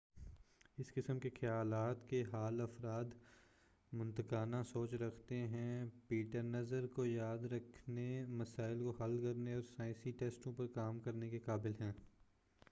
اس قسم کے خیالات کے حال افراد منطقانہ سوچ رکھتے ہیں پیٹرنز کو یاد رکھنے مسائل کو حل کرنے اور سائنسی ٹیسٹوں پر کام کرنے کے قابل ہیں